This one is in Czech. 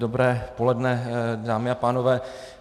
Dobré poledne, dámy a pánové.